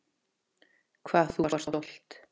Hvað þú varst stolt.